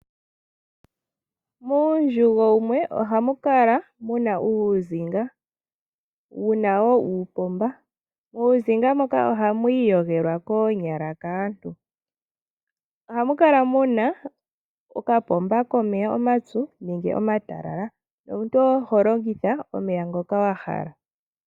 Muundjugo wumwe oha mu kala mu na uuzinga wu na wo uupomba muuzinga moka oha mu iyogelwa koonyala kaantu. Ohamu kala mu na okapomba komeya omapyu nenge omatalala omuntu ho longitha omeya ngoka wa hala.